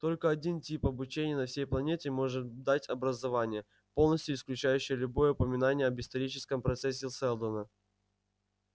только один тип обучения на всей планете может дать образование полностью исключающее любое упоминание об историческом процессе сэлдона